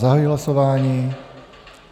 Zahajuji hlasování.